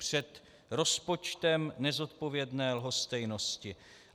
Před rozpočtem nezodpovědné lhostejnosti.